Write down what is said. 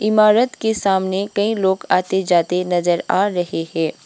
इमारत के सामने कई लोग आते जाते नजर आ रहे है।